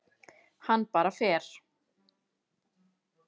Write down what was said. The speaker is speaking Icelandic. Hann bara fer.